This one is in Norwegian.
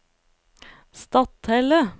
Stathelle